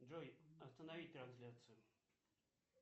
джой остановить трансляцию